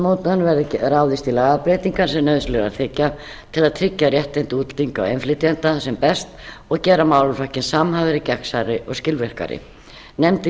stefnumótunar verði ráðist í lagabreytingar sem nauðsynlegar þykja til að tryggja réttindi útlendinga og innflytjenda sem best og gera málaflokkinn samhæfðari gegnsærri og skilvirkari nefndin